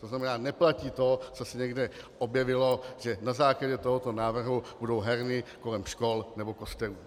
To znamená, neplatí to, co se někde objevilo, že na základě tohoto návrhu budou herny kolem škol nebo kostelů.